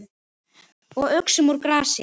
Og uxum úr grasi.